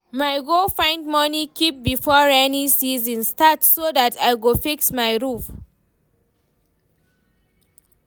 my go find money keep before rainy season start so that I go fix my roof